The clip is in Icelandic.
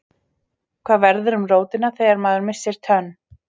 Hvað verður um rótina þegar maður missir tönn?